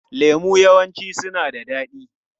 Lemu yawanci suna da daɗi.